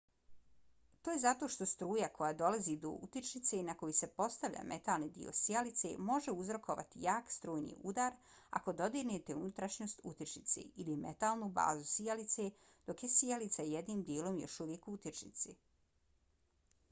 to je zato što struja koja dolazi do utičnice na koju se postavlja metalni dio sijalice može uzrokovati jak strujni udar ako dodirnete unutrašnjost utičnice ili metalnu bazu sijalice dok je sijalica jednim dijelom još uvijek u utičnici